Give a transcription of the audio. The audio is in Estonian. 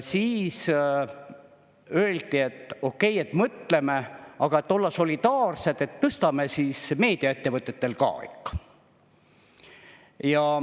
Siis öeldi, et okei, mõtleme, aga et olla solidaarsed, tõstame siis meediaettevõtetel ka ikka.